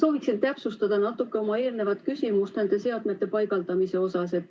Sooviksin täpsustada natuke oma eelnevat küsimust nende seadmete paigaldamise kohta.